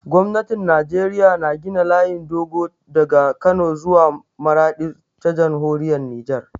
Gwamnatin Najeriya na gina layin dogo daga Kano zuwa Maraɗi ta Jamhuriyar Nijar.